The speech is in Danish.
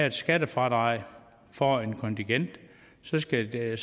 et skattefradrag for et kontingent så skal det